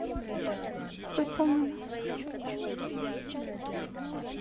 выполнено